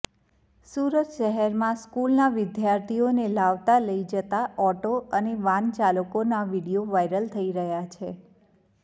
સુરતઃશહેરમાં સ્કૂલના વિદ્યાર્થીઓને લાવતાં લઈ જતાં ઓટો અને વાન ચાલકોના વીડિયો વાઈરલ થઈ રહ્યાં છે